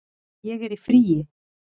Ég er í fríi